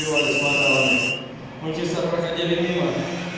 с модемами мы часто проходили мимо